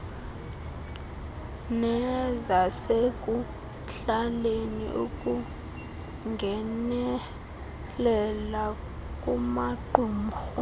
nezasekuhlaleni ukungenelela kumaqumrhu